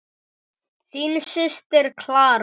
Þín systir, Clara.